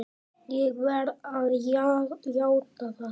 Ég verð að játa það!